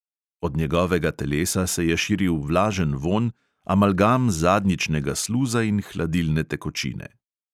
Od njegovega telesa se je širil vlažen vonj, amalgam zadnjičnega sluza in hladilne tekočine.